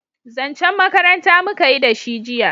zancen makaranta muka yi da shi jiya